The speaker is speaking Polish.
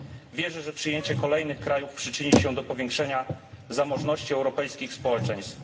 Wierzę, że przyjęcie kolejnych krajów przyczyni się do powiększenia zamożności europejskich społeczeństw.